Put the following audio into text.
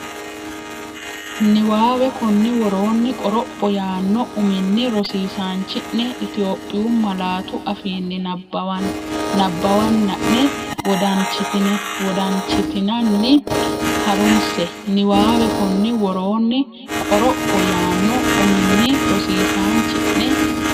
Niwaawe Konni woroonni “qoropho” yaanno uminni rosiisaanchi’ne Itophiyu malaatu afiinni nabbawanna’ne wodanchitinanni ha’runse Niwaawe Konni woroonni “qoropho” yaanno uminni rosiisaanchi’ne.